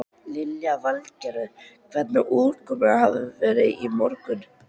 Lillý Valgerður: Hvernig útköllum hafi þið verið í morgun?